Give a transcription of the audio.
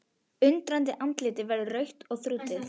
Undrandi andlitið verður rautt og þrútið.